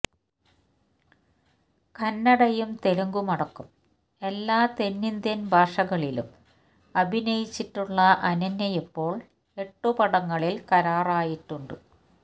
കന്നഡയും തെലുങ്കുമടക്കം എല്ലാ തെന്നിന്ത്യന് ഭാഷകളിലും അഭിനയിച്ചിട്ടുള്ള അനന്യയിപ്പോള് എട്ട് പടങ്ങളില് കരാറായിട്ടുണ്ട്